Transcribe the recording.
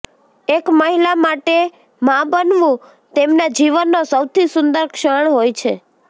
એક મહિલા માટે મા બનવું તેમના જીવનનો સૌથી સુંદર ક્ષણ હોય છે